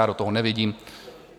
Já do toho nevidím.